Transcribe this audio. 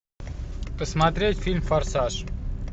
посмотреть фильм форсаж